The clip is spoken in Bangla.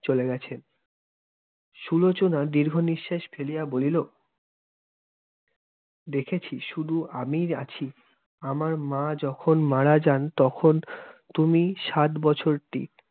চলে গেছেন। সুলোচনা দীর্ঘনিঃশ্বাস ফেলিয়া বলিল, দেখেছি শুধু আমিই আছি। আমার মা যখন মারা যান তখন তুমি সাত বছরটি।